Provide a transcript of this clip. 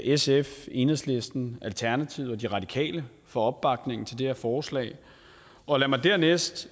sf enhedslisten alternativet og de radikale for opbakningen til det her forslag og lad mig dernæst